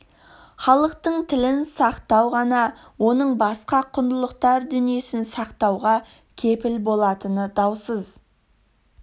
халықтың тілін сақтау ғана оның басқа құндылықтар дүниесін сақтауға кепіл болатыны даусыз